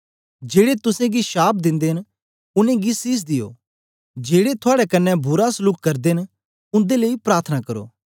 जेड़े तुसेंगी शाप दिंदे न उनेंगी सीस दियो जेड़े थुआड़े कन्ने बुरा सलूक करदे न उन्दे लेई प्रार्थना करो